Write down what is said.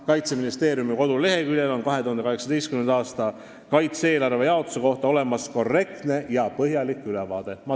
Kaitseministeeriumi koduleheküljel on 2018. aastal kaitse-eelarve jaotuse kohta olemas korrektne ja põhjalik ülevaade.